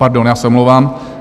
Pardon, já se omlouvám.